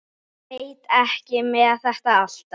Veit ekki með þetta alltaf.